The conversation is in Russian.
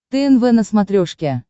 тнв на смотрешке